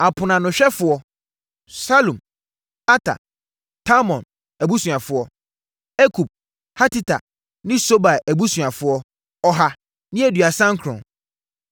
Aponoanohwɛfoɔ: + 2.42 Na aponoanohwɛfoɔ no yɛ Lewifoɔ a wɔwɛn Asɔredan no kwan ano. 1 Salum, Ater, Talmon abusuafoɔ 1 Akub, Hatita ne Sobai abusuafoɔ 2 139